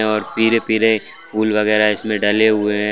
और पीले-पीले फूल वगैरा इसमें डले हुए हैं।